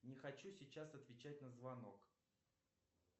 не хочу сейчас отвечать на звонок